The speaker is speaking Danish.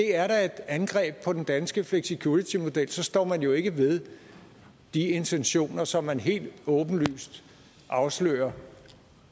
er et angreb på den danske flexicuritymodel står man jo ikke ved de intentioner som man helt åbenlyst afslører